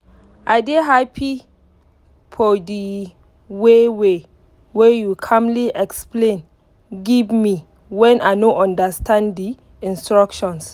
i dey happy for the waywey you calmly explain give me when i no understand the instructions.